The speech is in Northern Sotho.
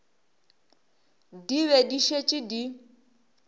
di be di šetše di